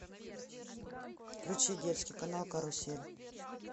включи детский канал карусель